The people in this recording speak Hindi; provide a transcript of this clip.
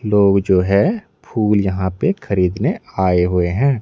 लोग जो है फूल यहां पे खरीदने आए हुए हैं।